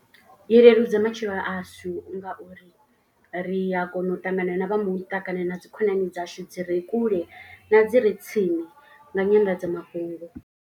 I leludza matshelo ashu ngauri ri a kona u ṱangana na vha muṱa. Kana na dzi khonani dzashu dzi re kule na dzi re tsini nga nyanḓadzamafhungo.